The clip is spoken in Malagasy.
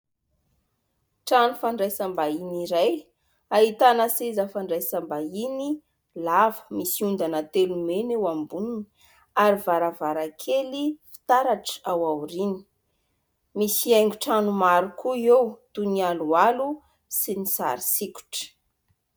Trano fandraisam-bahiny iray, ahitana seza fandraisam-bahiny lava, misy ondana telo mena eo amboniny ary varavarankely fitaratra ao aoriany misy haingon-trano maro koa eo toy ny aloalo sy ny sary sokitra.